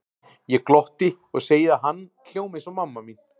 Ég glotti og segi að hann hljómi eins og mamma mín.